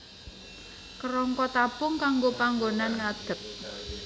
Kerangka tabung kanggo panggonan ngadeg